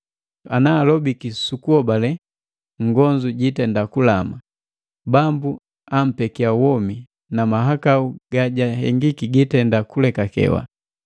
Ana alobiki su kuhobale nngonzu jitenda kulama; Bambu ampekia womi, na mahakau gajahengiki gitenda kulekakewa.